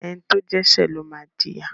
Ẹni tó dẹ́ṣẹ́ ló máa jìyà.